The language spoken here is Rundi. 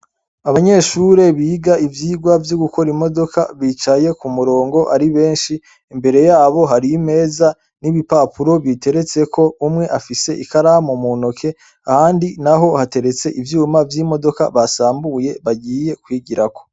Abanyeshure biga ivyirwa vyo gukora imodoka bicaye kumurongo ari benshi, imbere yabo hari Imeza n'ibipapuro biteretseko umwe afise ikaramu muntoke ahandi Naho hateretse ivyuma vy'imodoka basambuye bagiye kwigirako.